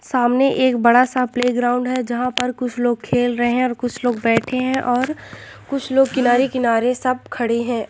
सामने एक बड़ा सा प्लेग्राउंड है जहाँ पर कुछ लोग खेल रहे हैं और कुछ लोग बैठे हैं और कुछ लोग किनारे किनारे सब खड़े हैं।